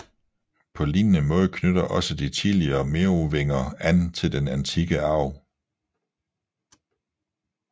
På lignende måde knytter også de tidlige merovinger an til den antikke arv